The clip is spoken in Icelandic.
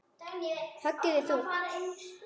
Höggið er þungt.